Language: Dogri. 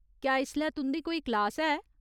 क्या इसलै तुं'दी कोई क्लास है ?